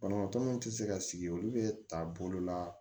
Banabaatɔ min tɛ se ka sigi olu bɛɛ ta bolo la